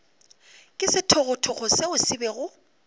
ke sethogothogo seo se bego